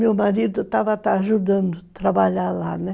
Meu marido estava ajudando a trabalhar lá, né.